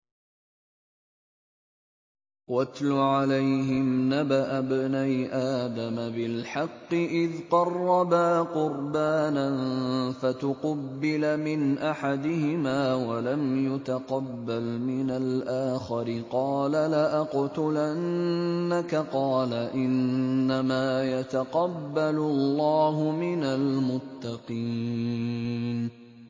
۞ وَاتْلُ عَلَيْهِمْ نَبَأَ ابْنَيْ آدَمَ بِالْحَقِّ إِذْ قَرَّبَا قُرْبَانًا فَتُقُبِّلَ مِنْ أَحَدِهِمَا وَلَمْ يُتَقَبَّلْ مِنَ الْآخَرِ قَالَ لَأَقْتُلَنَّكَ ۖ قَالَ إِنَّمَا يَتَقَبَّلُ اللَّهُ مِنَ الْمُتَّقِينَ